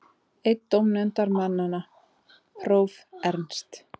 Einn dómnefndarmanna, próf. Ernst